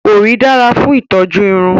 Òrí dára fún ìtọ́jú irun